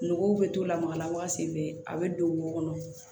Nogow bɛ to lamaga la waati bɛɛ a bɛ don wo kɔnɔ